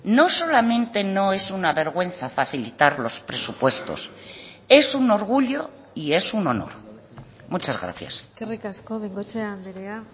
no solamente no es una vergüenza facilitar los presupuestos es un orgullo y es un honor muchas gracias eskerrik asko bengoechea andrea